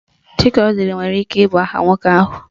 Chikaọdiri nwere ike ịbụ aha nwoke ahụ